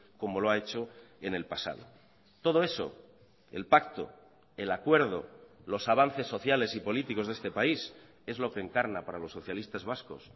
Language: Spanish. como lo ha hecho en el pasado todo eso el pacto el acuerdo los avances sociales y políticos de este país es lo que encarna para los socialistas vascos